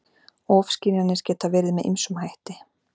Ofskynjanir geta verið með ýmsum hætti.